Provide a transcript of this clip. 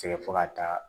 Sɛgɛn fo ka taa